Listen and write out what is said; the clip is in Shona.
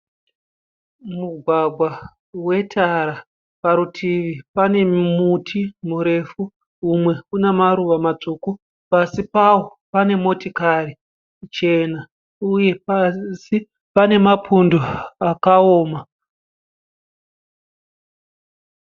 Mugwagwa wetara. Parutivi pane muti murefu umwe une maruva matsvuku. Pasi pawo pane motikari chena uye pasi pane mapundo akaoma.